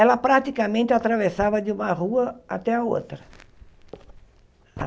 Ela praticamente atravessava de uma rua até a outra.